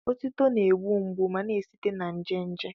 Otuto na-egbu mgbu ma na-esite na nje nje.